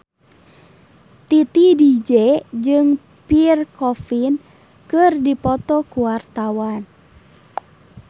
Titi DJ jeung Pierre Coffin keur dipoto ku wartawan